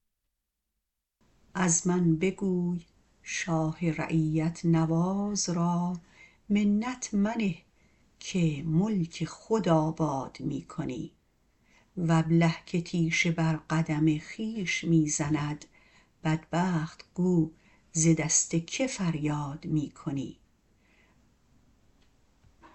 از من بگوی شاه رعیت نواز را منت منه که ملک خود آباد می کنی و ابله که تیشه بر قدم خویش می زند بدبخت گو ز دست که فریاد می کنی